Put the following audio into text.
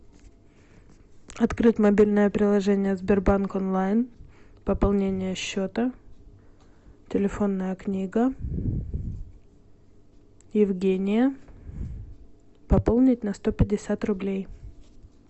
открыть мобильное приложение сбербанк онлайн пополнение счета телефонная книга евгения пополнить на сто пятьдесят рублей